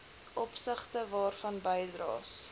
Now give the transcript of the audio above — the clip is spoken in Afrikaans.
opsigte waarvan bydraes